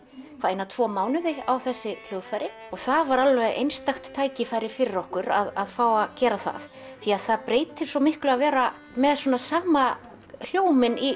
eina tvo mánuði á þessi hljóðfæri og það var alveg einstakt tækifæri fyrir okkur að fá að gera það því það breytir svo miklu að vera með sama hljóminn